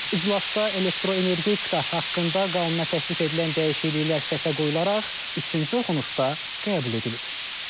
İclasda elektroenergetika haqqında qanuna təklif edilən dəyişikliklər səsə qoyularaq üçüncü oxunuşda qəbul edilib.